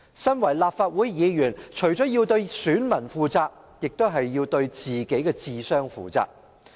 身為立法會議員，我們除了要對選民負責，亦要對自己的智商負責。